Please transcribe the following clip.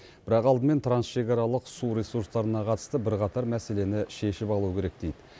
бірақ алдымен трансшекаралық су ресурстарына қатысты бірқатар мәселені шешіп алу керек дейді